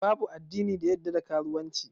Babu addini da ya koyar da karuwanci.